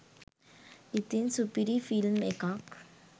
ඉතින් සුපිරි ෆිල්ම් එකක්